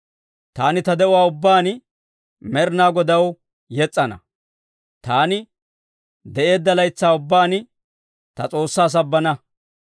Taani ta de'uwaa ubbaan Med'inaa Godaw yes's'ana; taani de'eedda laytsaa ubbaan ta S'oossaa sabbana.